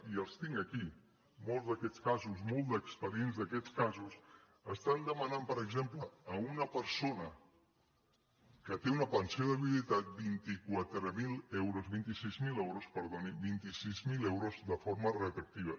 i els tinc aquí molts d’aquests casos molts expedients d’aquests casos estan demanant per exemple a una persona que té una pensió de viudetat vint quatre mil euros vint sis mil euros perdoni vint sis mil euros de forma re·troactiva